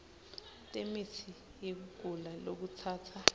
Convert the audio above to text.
temitsi yekugula lokutsatsa